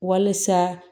Walisa